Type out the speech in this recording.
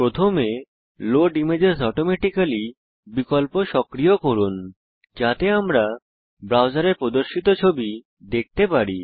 প্রথমে load images automatically বিকল্প সক্রিয় করুন যাতে আমরা ব্রাউজারে প্রদর্শিত ছবি দেখতে পারি